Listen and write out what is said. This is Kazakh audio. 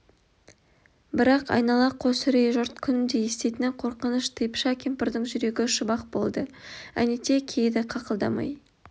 бірақ айнала қос үрей жұрт күнде еститіні қорқыныш типыша кемпірдің жүрегі ұшып-ақ болды әнетей кейіді қақылдамай